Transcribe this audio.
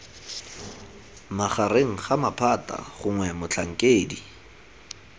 magareng ga maphata gongwe motlhankedi